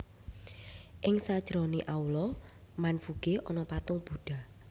Ing sajerone aula Wanfuge ana patung budha